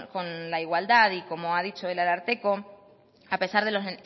con la igualdad y como ha dicho el ararteko a pesar de los